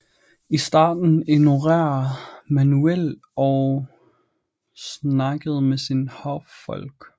I starten ignorerede Manuel og snakkede med sine hoffolk